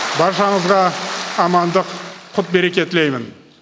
баршаңызға амандық құт береке тілеймін